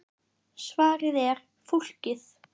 Svarið er: Fólkið.